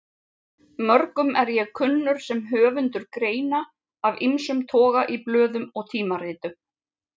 Mörgum er ég kunnur sem höfundur greina af ýmsum toga í blöðum og tímaritum.